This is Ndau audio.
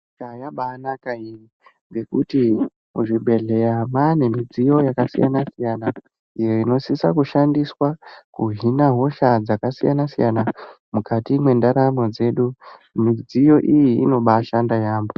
Nyika yabanaka iyi ngekuti kuzvibhedhleya kwane midziyo yakasiyana-siyana iyo inosisa kushandiswa kuhina hosha dzakasiyana-siyana mukati mwendaramo dzedu. Midziyo iyi inobashanda yaamho.